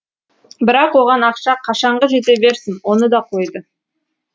бірақ оған ақша қашанғы жете берсін оны да қойды